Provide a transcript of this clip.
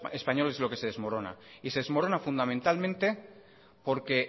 español es lo que se desmorona fundamentalmente porque